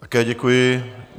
Také děkuji.